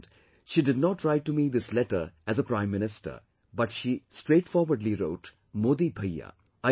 And, she did not write to me this letter as a Prime Minister but she straightforwardly wrote "Modi Bhaiya